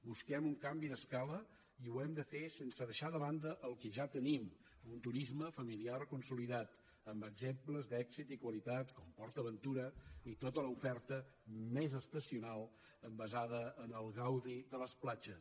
busquem un canvi d’escala i ho hem de fer sense deixar de banda el que ja tenim un turisme familiar consolidat amb exemples d’èxit i qualitat com port aventura i tota l’oferta més estacional basada en el gaudi de les platges